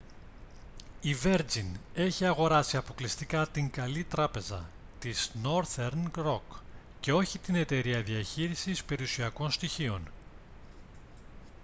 η βέρτζιν έχει αγοράσει αποκλειστικά την «καλή τράπεζα» της νόρθερν ροκ και όχι την εταιρεία διαχείρισης περιουσιακών στοιχείων